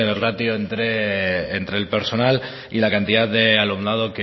ratio entre el personal y la cantidad de alumnado